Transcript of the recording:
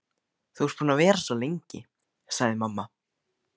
Þú ert búin að vera svo lengi, sagði mamma.